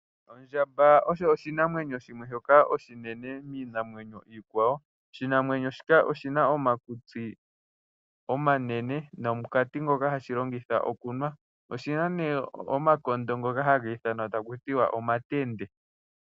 Ondjamba oyo oshinamwenyo shimwe shoka oshinene miinamwenyo iikwawo. Oshinamwenyo shika oshi na omakutsi omanene, nomukati ngoka hashi longitha okunwa. Oshi na nee omakondo ngoka hagi ithanwa omatende.